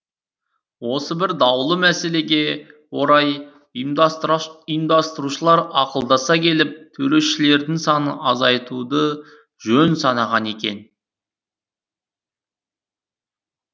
осы бір даулы мәселеге орай ұйымдастырушылар ақылдаса келіп төрешілердің санын азайтуды жөн санаған екен